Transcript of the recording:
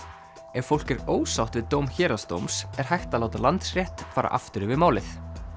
ef fólk er ósátt við dóm héraðsdóms er hægt að láta Landsrétt fara aftur yfir málið